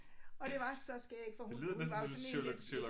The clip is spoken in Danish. Og det var så skægt for hun hun var sådan én lidt